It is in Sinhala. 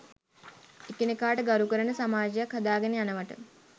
එකිනෙකාට ගරු කරන සමාජයක් හදාගෙන යනවට